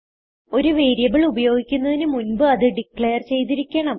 ഒരു വേരിയബിൾ ഉപയോഗിക്കുന്നതിന് മുൻപ് അത് ഡിക്ലേർ ചെയ്തിരിക്കണം